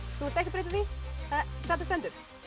þú vilt ekki breyta því þetta stendur